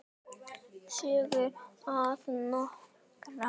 Sögur að norðan.